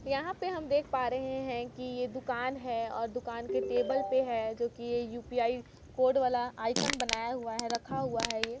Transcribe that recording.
यहां पे हम देख पा रहे हैं कि ये दुकान है अ दुकान के टेबल पे है जो कि ये यू_पी_आई कोर्ड वाला आईकन बनाया हुआ है रखा हुआ है ये।